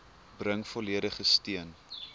bring volledige steun